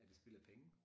Er det spild af penge